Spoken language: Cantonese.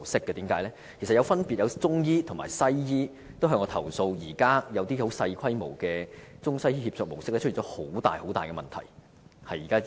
其實曾分別有中醫和西醫向我投訴，指現時一些正在運作的小規模中西醫協作模式出現了很大的問題。